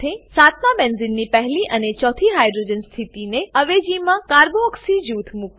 સાતમાં બેન્ઝીનની પહેલી અને ચોથી હાઇડ્રોજન સ્થિતિની અવેજીમાં કાર્બોક્સી કાર્બોક્સી જૂથ મુકો